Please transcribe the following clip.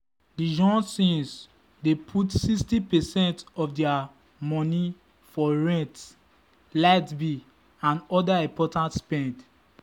the johnsons dey put 60 percent of their money for rent light bill and other important spend.